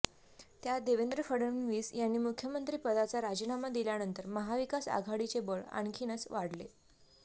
त्यात देवेंद्र फडणविस यांनी मुख्यमंत्रीपदाचा राजीनामा दिल्यानंतर महाविकास आघाडीचे बळ आणखीनच वाढले